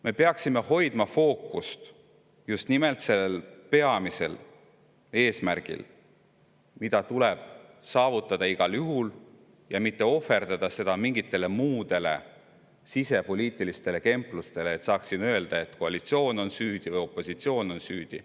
Me peaksime hoidma fookust just nimelt sellel peamisel eesmärgil, mis tuleb saavutada igal juhul, ja me ei või ohverdada seda mingitele muudele sisepoliitiliste kemplustele, et saaks öelda, et koalitsioon on süüdi või opositsioon on süüdi.